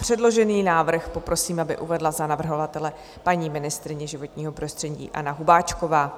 Předložený návrh, prosím, aby uvedla za navrhovatele paní ministryně životního prostředí Anna Hubáčková.